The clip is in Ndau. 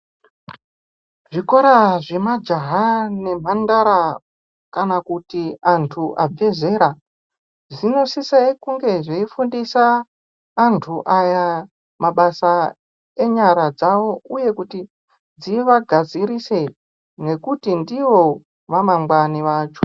Zvikora zvemajaha nemhandara kana kuti antu abve zera zvinosise kunge zveifundisa antu aya mabasa enyara dzawo, uye kuti tivagadzirise ngekuti ndiwo amangwani vacho.